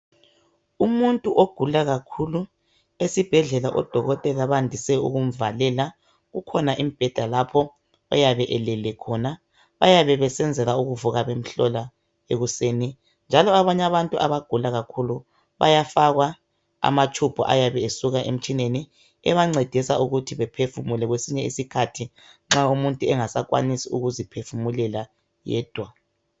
Umuntu ogula kakhulu, esibhedlela odokotela bandise ukumvalela, kukhona imbheda lapho oyabe elele khona. Bayabe besenzela ukuvuka bemhlola ekuseni, njalo abanye abantu abagula kakhulu bayafakwa amatshubhu ayabe esuka emtshineni ebancedisa ukuthi baphefumule kwesinye isikhathi nxa umuntu engasakwanisi ukuziphefumulela yedwa.